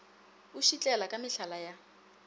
o šitlela ka mehlala ya